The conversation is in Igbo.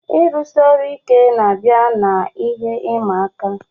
Ọrụ siri ike, na-abịa na ihe ịma aka